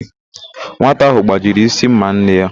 Nwata ahụ gbajiri ísí ḿmà nne ya.